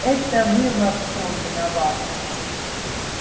это вы во всём виноваты